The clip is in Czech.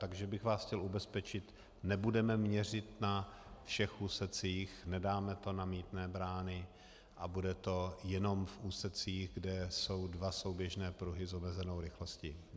Takže bych vás chtěl ubezpečit, nebudeme měřit na všech úsecích, nedáme to na mýtné brány a bude to jenom v úsecích, kde jsou dva souběžné pruhy s omezenou rychlostí.